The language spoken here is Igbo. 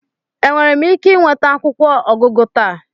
Enwere m ike ịnweta akwụkwọ ọgụgụ taa?